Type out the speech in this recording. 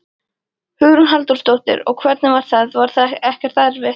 Hugrún Halldórsdóttir: Og hvernig var það, var það ekkert erfitt?